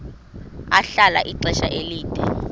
ahlala ixesha elide